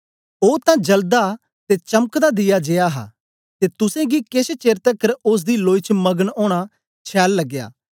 ओ तां जलदा ते चमकता दीया जेया हा ते तुसेंगी केछ चेर तकर ओसदी लोई च मगन ओना छैल लगया